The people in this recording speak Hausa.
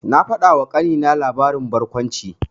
Na faɗawa ƙanina labarin barkwanci.